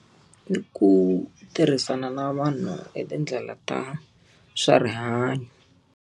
I ku tirhisana na vanhu hi tindlela ta swa rihanyo.